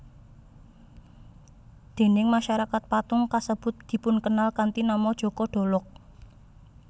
Déning masyarakat patung kasebut dipunkenal kanthi nama Joko Dolog